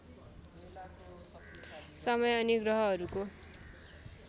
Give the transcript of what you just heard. समय अनि ग्रहहरूको